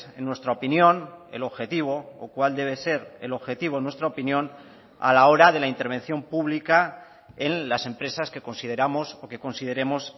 en nuestra opinión el objetivo o cuál debe ser el objetivo en nuestra opinión a la hora de la intervención pública en las empresas que consideramos o que consideremos